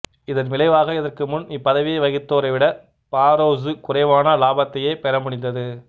இதன் விளைவாக இதற்கு முன் இப்பதவியை வகித்தோரைவிட பாரோசு குறைவான இலாபத்தையே பெற முடிந்தது